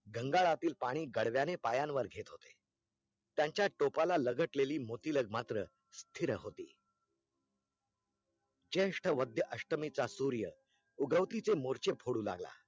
गंगारातील पाणी गाड्व्याने पायांवर घेत होते त्यांचा टोपाला लगटलेली मोतिलग मात्र स्थिर होती चेष्ठा वद्या अष्टमीचा सूर्य उगवतीचे मोरचे फोडू लागला